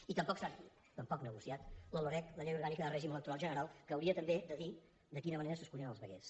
i tampoc s’ha negociat la loreg la llei orgànica de règim electoral general que hauria també de dir de quina manera s’escullen els veguers